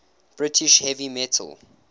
british heavy metal